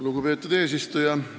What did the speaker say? Lugupeetud eesistuja!